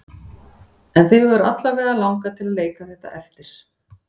En þig hefur alla vega langað til að leika þetta eftir?